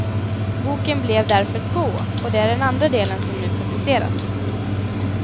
Boken blev därför två, och det är den andra delen som nu publiceras.